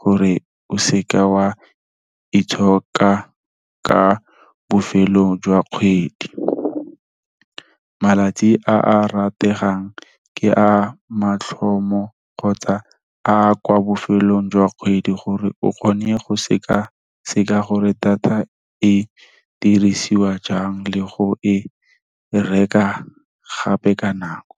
gore o seka wa itshoka ka bofelong jwa kgwedi. Malatsi a a rategang ke a mathomo kgotsa a kwa bofelong jwa kgwedi, gore o kgone go sekaseka gore data e dirisiwa jang le go e reka gape ka nako.